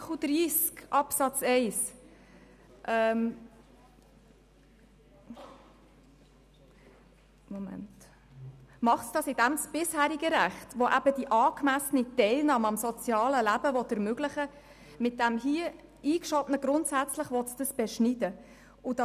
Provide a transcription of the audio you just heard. Dies bedeutet, dass das bisherige Recht von Artikel 30 Absatz 1, welches die angemessene Teilnahme am sozialen Leben ermöglichen will, durch das eingeschobene Wörtchen «grundsätzlich» beschnitten wird.